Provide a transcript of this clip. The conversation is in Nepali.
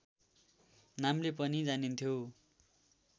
नामले पनि जानिन्थ्यो